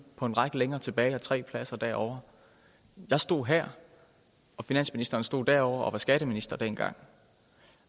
på en række længere tilbage og tre pladser derovre jeg stod her og finansministeren stod derovre og var skatteminister dengang